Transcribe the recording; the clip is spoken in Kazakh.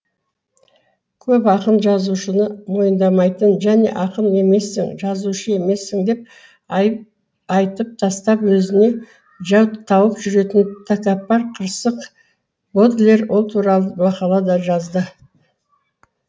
көп ақын жазушыны мойындамайтын және ақын емессің жазушы емессің деп айтып тастап өзіне жау тауып жүретін тәкаппар қырсық бодлер ол туралы мақала да жазды